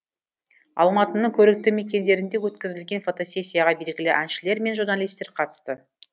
алматының көрікті мекендерінде өткізілген фотосессияға белгілі әншілер мен журналисттер қатысты